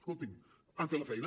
escoltin han fet la feina